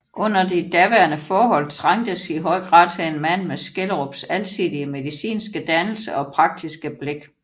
Under de daværende forhold trængtes i høj grad til en mand med Skjelderups alsidige medinske dannelse og praktiske blik